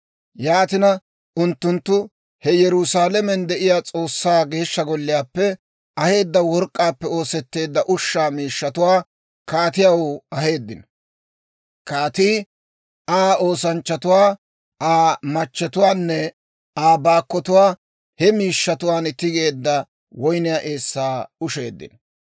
Yaatina, unttunttu he Yerusaalamen de'iyaa S'oossaa Geeshsha Golliyaappe aheedda work'k'aappe oosetteedda ushshaa miishshatuwaa kaatiyaw aheeddino. Kaatii, Aa oosanchchatuu, Aa machchetuunne Aa baakkotuu he miishshatuwaan tigetteedda woyniyaa eessaa usheeddino.